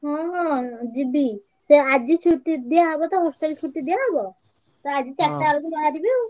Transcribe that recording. ହଁ ହଁ ଯିବି ଆଜି ଛୁଟି ଦିଆ ହବ ତ hostel ଛୁଟି ଦିଆହବ ତ ଆଜି ଚାରିଟା ବେଳକୁ ବହାରିବି ଆଉ।